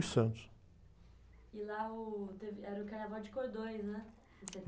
e Santos. lá, uh, teve, era o carnaval de cordões, né?